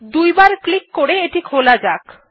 দুইবার ক্লিক করে এটি খোলা যাক